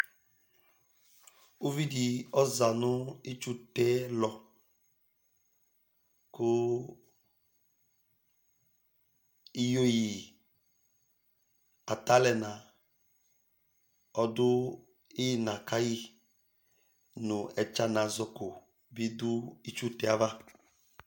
Ʋvidí ɔza nʋ itsu tɛ lɔ kʋ iyeyi ata alu ɛna ɔdu ina kayi nʋ ɛtsanazɔko ɔdu itsu tɛ yɛ ava